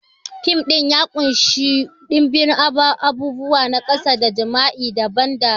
Fim ɗin ya ƙunshi ɗimbin abubuwa na kasada, jima'i da ban dariya.